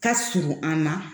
Ka surun an na